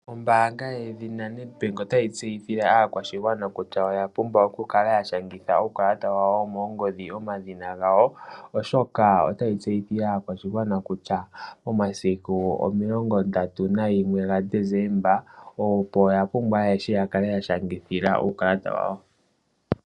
Ombaanga yedhi lyoNedbank otayi tseyithile aakwashigwana kutya oya pumbwa okukala yashangitha uukalata wawo womoongodhi omadhina gawo oshoka otayi tseyithile aakwashigwana kutya omasiku o31 gaDesemba opo yapumbwa ayehe yakale yashangitha uukalata wawo.